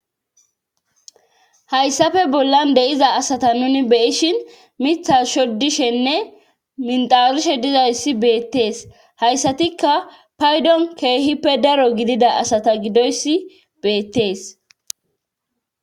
hayssafe bollan de'iza asata nuni be'ishin mitha shoddishenne minxawuishe dizayssi beettees hayssatikka paydon keehippe daro gidida asata gidoyssi beettees